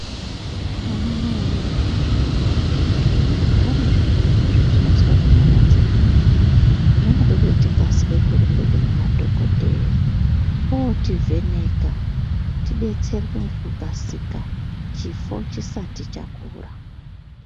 Anamaiwee naana baba, zvintani, zviyaiyo zvetinozwa munyama dzedumu, zvinode kuti tikasike kurumba kunemadhogodheya ootivheneka, tidetserwe ngekukasika chifo chisati chakura.